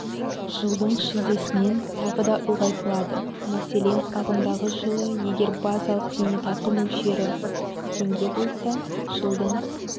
жылдың шілдесінен тағы да ұлғайтылады мәселен ағымдағы жылы егер базалық зейнетақы мөлшері теңге болса жылдың